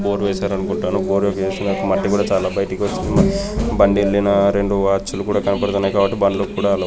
జోగేశ్వరం గుట్టలు. భోగేశ్వరం చాలా బండిలున్న రెండు వాచ్లు కూడా కనబడుతున్నాయి. తర్వాత బండ్లు కూడా.